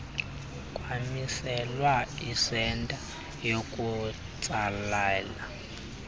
kwamiselwa isenta yokutsalela